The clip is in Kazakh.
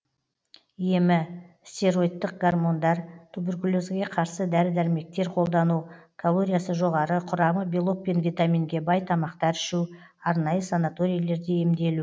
емі стероидтық гормондар туберкулезге қарсы дәрі дәрмектер қолдану калориясы жоғары құрамы белок пен витаминге бай тамақтар ішу арнайы санаторийлерде емделу